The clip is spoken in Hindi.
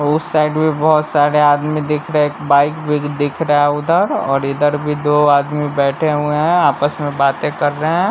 उस साइड में बहोत सारे आदमी दिख रहे एक बाइक भी दिख रहा है उधर और इधर भी दो आदमी बैठे हुवे हैं और आपस में बातें कर रहे हैं।